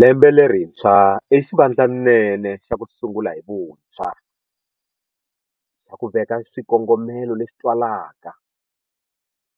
Lembe lerintshwa i xivandlanene xa ku sungula hi vuntshwa, xa ku veka swikongomelo leswi twalaka,